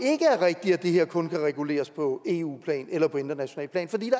rigtigt at det her kun kan reguleres på eu plan eller på internationalt plan fordi